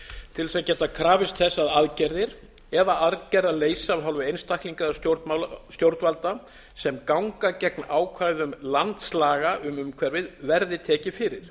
til þess að geta krafist þess að aðgerðir eða aðgerðaleysi af hálfu einstaklinga eða stjórnvalda sem ganga gegn ákvæðum landslaga um umhverfið verði tekið fyrir